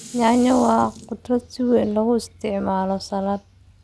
Yaanyada waa khudrad si weyn loogu isticmaalo saladh.